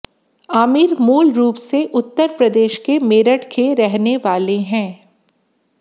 आमिर मूल रूप से उत्तर प्रदेश के मेरठ के रहने वाले हैं